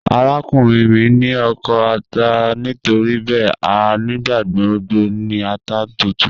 Arakunrin mi ni oko ata nitoribẹẹ a nigbagbogbo ni ata tuntun.